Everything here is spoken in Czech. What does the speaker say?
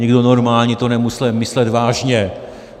Nikdo normální to nemohl myslet vážně.